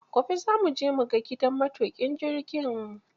Gobe za mu je mu ga gidan matuƙin jirgin